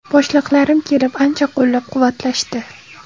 Boshliqlarim kelib, ancha qo‘llab-quvvatlashdi.